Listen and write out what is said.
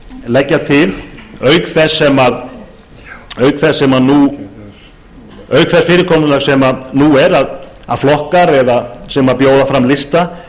leggja til að auk þess fyrirkomulags sem nú er að flokkar sem bjóða fram lista